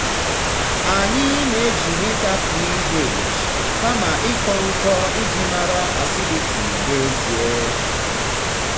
anyị na-eji mita ph kama ịkọ nkọ iji mara acidity n'ezie.